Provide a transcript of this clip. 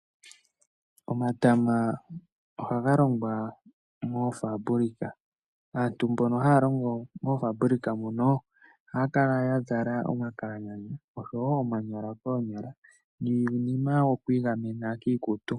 Omatama ohaga longwa moofaambulika. Aantu mbono haya longo moofaambulika mono ohaya kala ya zala omakalanyana oshowo omanyala koonyala niinima yokwiigamena kiikutu.